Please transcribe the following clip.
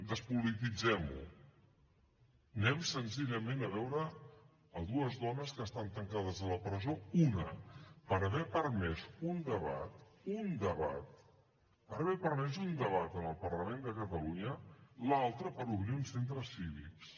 despolititzem ho anem senzillament a veure dues dones que estan tancades a la presó una per haver permès un debat per haver permès un debat en el parlament de catalunya l’altra per obrir uns centres cívics